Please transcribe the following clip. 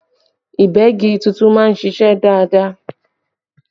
Ìgbẹ́gi tuntun máa ń ṣiṣẹ́ dáadáa